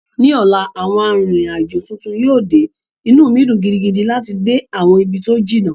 Ní ọ̀la, àwọn arìnrìn-àjò tuntun yíò de, inú mi dùn gidigidi láti dé àwọn ibi tó jìnnà